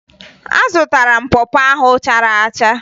Azụtara m pọ pọ ahụ chara acha